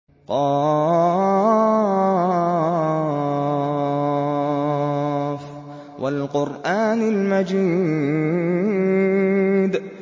ق ۚ وَالْقُرْآنِ الْمَجِيدِ